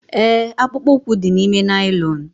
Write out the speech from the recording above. Ee, akpụkpọ ụkwụ dị n'ime naịlọn.